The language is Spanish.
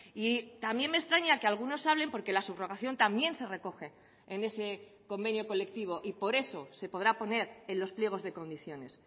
y también me extraña que algunos hablen porque la subrogación también se recoge en ese convenio colectivo y por eso se podrá poner en los pliegos de condiciones